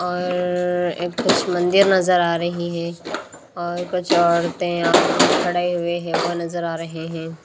और कुछ मंदिर नजर आ रही हैं और कुछ औरतें खड़े हुए हैं वो नजर आ रहे हैं।